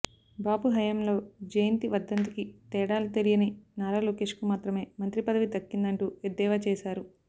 బాబు హయంలో జయంతి వర్ధంతికి తేడా తెలియని నారా లోకేష్కు మాత్రమే మంత్రి పదవి దక్కిందంటూ ఎద్దేవా చేశారు